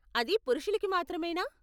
అది పురుషులకి మాత్రమేనా?